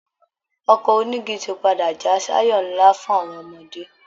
Ọkọ̀ onígi ti padà já sáyọ̀ ńlá fún àwọn ọmọdé